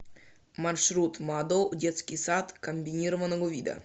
маршрут мадоу детский сад комбинированного вида